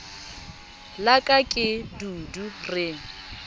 la ka ke dudu re